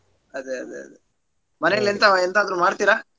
ಅದೇ ಅದೇ ಅದೇ ಮನೇಲೆಂತಾ ಎಂತ ಆದ್ರೂ ಮಾಡ್ತೀರಾ?